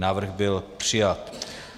Návrh byl přijat.